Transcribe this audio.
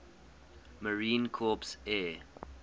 marine corps air